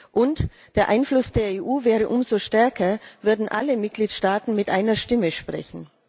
Und der Einfluss der EU wäre umso stärker, würden alle Mitgliedstaaten mit einer Stimme sprechen.